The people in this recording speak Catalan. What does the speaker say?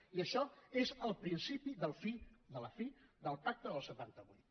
i això és el principi de la fi del pacte del setanta vuit